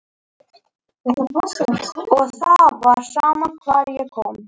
Og það var sama hvar ég kom.